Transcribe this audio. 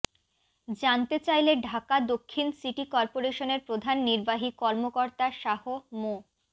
জানতে চাইলে ঢাকা দক্ষিণ সিটি করপোরেশনের প্রধান নির্বাহী কর্মকর্তা শাহ মো